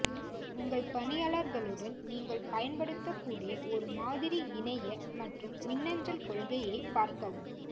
உங்கள் பணியாளர்களுடன் நீங்கள் பயன்படுத்தக்கூடிய ஒரு மாதிரி இணைய மற்றும் மின்னஞ்சல் கொள்கையைப் பார்க்கவும்